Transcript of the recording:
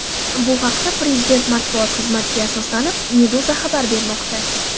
Bu haqda, prezident matbuot xizmatiga asoslanib, Meduza xabar bermoqda .